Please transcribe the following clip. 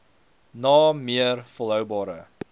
na meer volhoubare